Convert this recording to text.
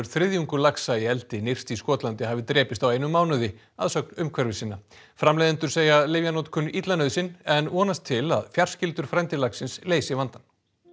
þriðjungur laxa í eldi nyrst í Skotlandi hafi drepist á einum mánuði að sögn umhverfissinna framleiðendur segja lyfjanotkun illa nauðsyn en vonast til að fjarskyldur frændi laxins leysi vandann